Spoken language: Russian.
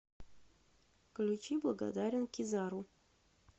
включи благодарен кизару